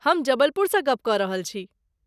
हम जबलपुरसँ गप्प कऽ रहल छी?